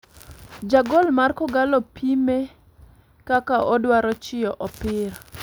Jagol mar kogallo pime kaka odwaro chiyo opira.